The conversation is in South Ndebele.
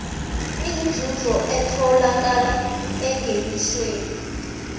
inzuzo etholakala engenisweni